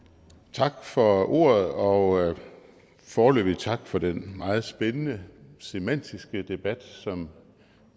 tak for ordet og foreløbig tak for den meget spændende semantiske debat som